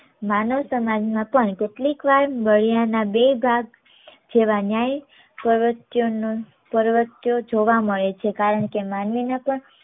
માનવ સમાજમાં પણ કેટલીક વાર બાળિયાના બે ભાગ જેવા ન્યાય પ્રવર્તય પ્રવત્યો જોવા મળે છે કારણકે માનવી ને પણ